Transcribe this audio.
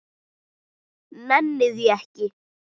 Nenni því ekki